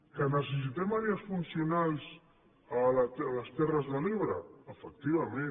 que necessitem àrees funcionals a les terres de l’ebre efectivament